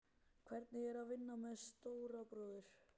Hvernig er að vinna með stóra bróður?